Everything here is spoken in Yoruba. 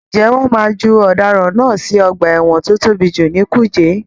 Ǹjẹ́ wọ́n máa ju ọ̀daràn náà sì ọgbà ẹ̀wọ̀n tí ó tóbi jù ní kùjé.